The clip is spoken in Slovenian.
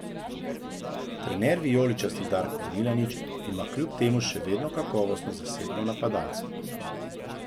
Trener vijoličnih Darko Milanič ima kljub temu še vedno kakovostno zasedbo napadalcev.